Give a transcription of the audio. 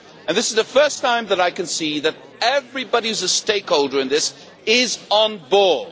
This is the first time that I can see that everybody who is a stakeholder in this is on board.